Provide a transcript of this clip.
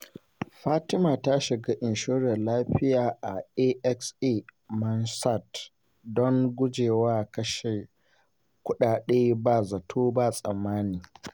Fatima ta shiga inshorar lafiya a AXA Mansard don gujewa kashe kudade ba zato ba tsammani.